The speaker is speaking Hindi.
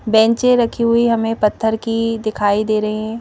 बैंचें रखी हुई हमें पत्थर की दिखाई दे रही हैं।